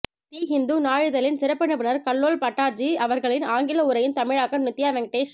தி ஹிந்து நாளிதழின் சிறப்பு நிருபர் கல்லோல் பட்டாச்சார்ஜீ அவர்களின் ஆங்கில உரையின் தமிழாக்கம் நித்யா வெங்கடேஷ்